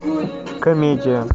комедия